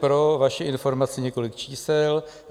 Pro vaši informaci několik čísel.